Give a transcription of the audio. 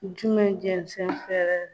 Jumɛn jɛnsen fɛrɛ